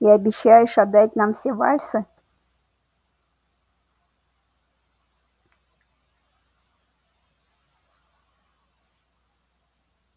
и обещаешь отдать нам все вальсы